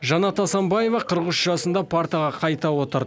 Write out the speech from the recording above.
жанат асанбаева қырық үш жасында партаға қайта отырды